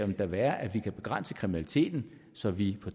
da være at vi kan begrænse kriminaliteten så vi